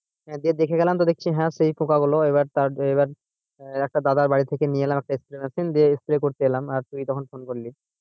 দিয়ে দেখে গেলাম হ্যাঁ দেখছি সেই পোকাগুলো এবার তার এবার আহ একটা দাদার বাড়ি থেকে নিয়ে এলাম একটা spray machine দিয়ে spray করতে এলাম আর তুই তখন phone করলি।